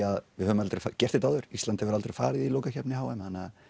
að við höfum aldrei gert þetta áður Ísland hefur aldrei farið á lokakeppni h m þannig